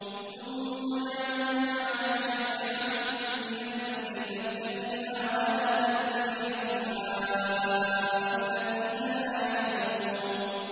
ثُمَّ جَعَلْنَاكَ عَلَىٰ شَرِيعَةٍ مِّنَ الْأَمْرِ فَاتَّبِعْهَا وَلَا تَتَّبِعْ أَهْوَاءَ الَّذِينَ لَا يَعْلَمُونَ